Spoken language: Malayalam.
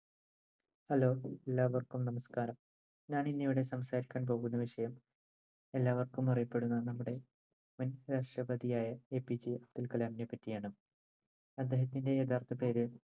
hello എല്ലാവർക്കും നമസ്ക്കാരം ഞാൻ ഇന്ന് ഇവിടെ സംസാരിക്കാൻ പോകുന്ന വിഷയം എല്ലാവർക്കും അറിയപ്പെടുന്ന നമ്മുടെ മുൻ രാഷ്ട്രപതിയായ APJ അബ്ദുൽകലാമിനെ പറ്റിയാണ് അദ്ദേഹത്തിന്റെ യഥാർത്ഥ പേര്